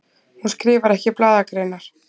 Hún skrifar ekki blaðagreinar.